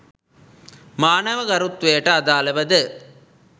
මානව ගරුත්වයට අදාළව ද